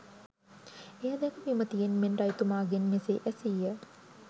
එය දැක විමතියෙන් මෙන් රජතුමාගෙන් මෙසේ ඇසීය